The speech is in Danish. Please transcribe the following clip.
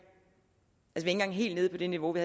engang helt nede på det niveau vi